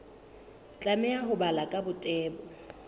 tlameha ho balwa ka botebo